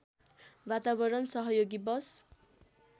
वातावरण सहयोगी बस